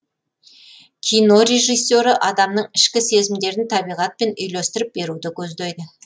кино режиссері адамның ішкі сезімдерін табиғатпен үйлестіріп беруді көздейді